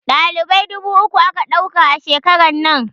Dalibai dubu uku aka ɗauka a shekarar nan